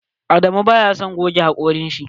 Adamu baya son goge hakoran shi.